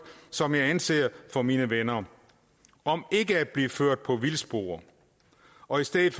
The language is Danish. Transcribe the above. som jeg anser for mine venner om ikke at blive ført på vildspor og i stedet